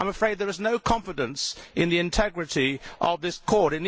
I am afraid there is no confidence in the integrity of this Court.